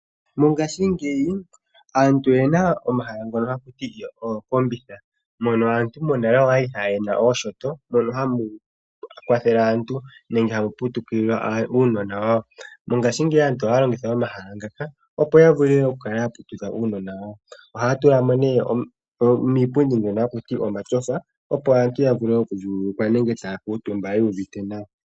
Mongashiingeyi , aantu oyena omahala ngoka ha ku ti ookombitha , mono aantu monale yali yena ooshoto mono hamu kwathele aantu nenge hamu putukile uunona wawo . Mongashiigeyi , aantu ohaya longitha omahala ngaka opo ya vule oku kala ya putudha aanona yawo . Ohaya tulamo nee omipundi dhono hakuti omatyofa opo aantu ya vule oku vululukwa nenge taya kuutumba yu uvuite nawa .